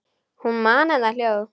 Hún man enn það hljóð.